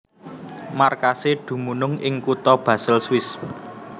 Markasé dumunung ing kutha Basel Swiss